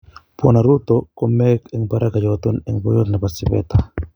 Bwana Ruto ko meek en baraka yoton en boiyot nebo sipeta.